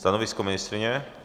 Stanovisko ministryně?